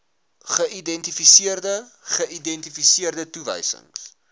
geïdentifiseerde geïdentifiseerde toewysings